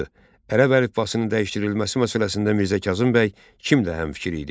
Ərəb əlifbasının dəyişdirilməsi məsələsində Mirzə Kazım bəy kimlə həmfikir idi?